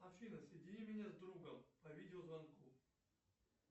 афина соедини меня с другом по видео звонку